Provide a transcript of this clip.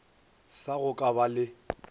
sa go ka ba le